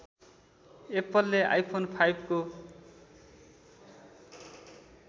एप्पलले आइफोन फाइभको